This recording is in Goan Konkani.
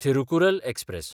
थिरुकुरल एक्सप्रॅस